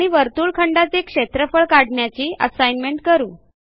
आणि वर्तुळखंडाचे क्षेत्रफळ काढण्याची असाईनमेंट करू